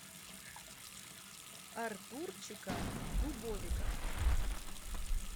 артурчика дубовика